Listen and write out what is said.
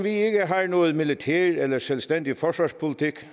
ikke har noget militær eller en selvstændig forsvarspolitik